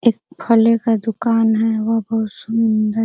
एक फले का दुकान है वह बहुत सुन्दर --